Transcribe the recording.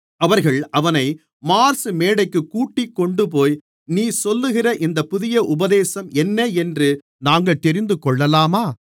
அவர்கள் அவனை மார்ஸ் மேடைக்கு கூட்டிக்கொண்டுபோய் நீ சொல்லுகிற இந்த புதிய உபதேசம் என்ன என்று நாங்கள் தெரிந்துகொள்ளலாமா